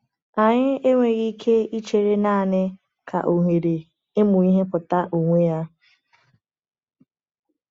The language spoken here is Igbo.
Anyị enweghị ike ichere naanị ka ohere ịmụ ihe pụta onwe ya.